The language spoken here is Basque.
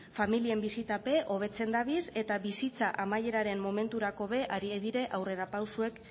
familiak bizitape hobetzen dabiz eta bizitza amaieraren momenturako be arie dire aurrerapausoek